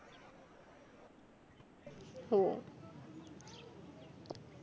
हो